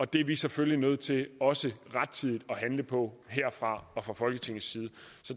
det er vi selvfølgelig nødt til også rettidigt at handle på herfra og fra folketingets side